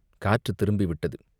காற்றுத் திரும்பி விட்டது.